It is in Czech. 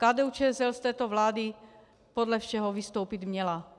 KDU-ČSL z této vlády podle všeho vystoupit měla.